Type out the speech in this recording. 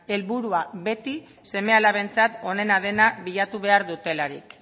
helburua beti seme alabentzat onena dena bilatu behar dutelarik